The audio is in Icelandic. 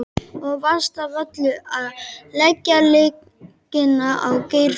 Og verst af öllu að leggja lygina á Geirþrúði.